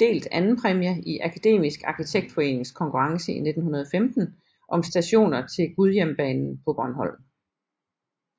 delt andenpræmie i Akademisk Arkitektforenings konkurrence i 1915 om stationer til Gudhjembanen på Bornholm